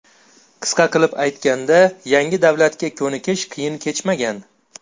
Qisqa qilib aytganda, yangi davlatga ko‘nikish qiyin kechmagan.